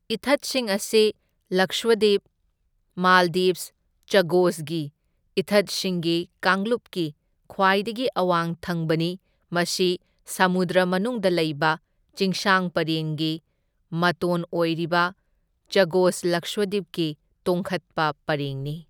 ꯏꯊꯠꯁꯤꯡ ꯑꯁꯤ ꯂꯛꯁꯗ꯭ꯋꯤꯞ ꯃꯥꯜꯗꯤꯚꯁ ꯆꯥꯒꯣꯁꯒꯤ ꯏꯊꯠꯁꯤꯡꯒꯤ ꯀꯥꯡꯂꯨꯞꯀꯤ ꯈ꯭ꯋꯥꯏꯗꯒꯤ ꯑꯋꯥꯡ ꯊꯪꯕꯅꯤ, ꯃꯁꯤ ꯁꯃꯨꯗ꯭ꯔ ꯃꯅꯨꯡꯗ ꯂꯩꯕ ꯆꯤꯡꯁꯥꯡ ꯄꯔꯦꯡꯒꯤ ꯃꯇꯣꯟ ꯑꯣꯏꯔꯤꯕ, ꯆꯒꯣꯁ ꯂꯛꯁꯗ꯭ꯋꯤꯞꯀꯤ ꯇꯣꯡꯈꯠꯄ ꯄꯔꯦꯡꯅꯤ꯫